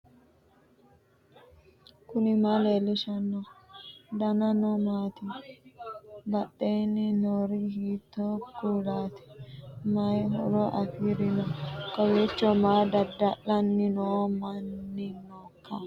knuni maa leellishanno ? danano maati ? badheenni noori hiitto kuulaati ? mayi horo afirino ? kowiicho maa dada'lanni noo manni nooikka